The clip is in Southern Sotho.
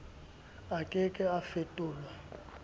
a ke ke a fetolwa